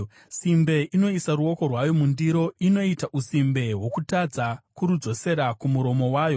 Simbe inoisa ruoko rwayo mundiro; inoita usimbe hwokutadza kurudzosera kumuromo wayo.